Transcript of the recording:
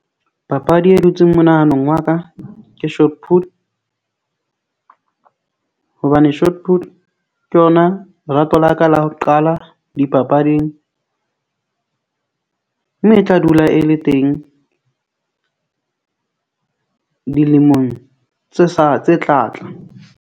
Papadi e dutseng monahanong wa ka ke hobane ke yona lerato la ka la ho qala dipapading, mme e tla dula e le teng dilemong tse sa tse tla tla.